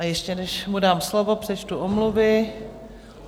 A ještě než mu dám slovo, přečtu omluvy.